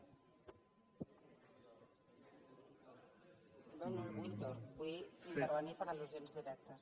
no no el vull el torn vull intervenir per al·lusions directes